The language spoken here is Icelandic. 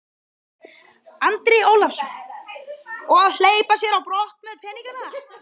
Andri Ólafsson: Og að hleypa sér á brott með peningana?